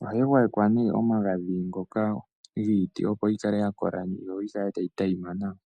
Ohayi gwayekwa ne omagadhi ngoka giiti opo yikale yakola, yo yikale tayi monika nawa.